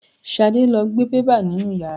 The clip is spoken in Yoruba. Ṣadé lo gbe bẹ́bà nínú ìyàrá.